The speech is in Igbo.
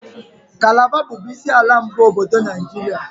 Kalaba bụbu isi ala mbụ obodo Naijiria.